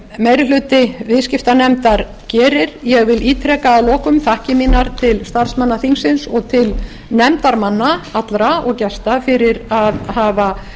meiri hluti viðskiptanefndar gerir ég vil ítreka að lokum þakkir mínar til starfsmanna þingsins og til nefndarmanna allra og gesta fyrir að hafa